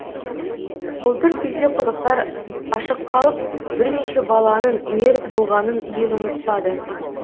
былтыр күзде құдықтар ашық қалып бірнеше баланың мерт болғанын ел ұмытпады